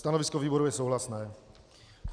Stanovisko výboru je souhlasné.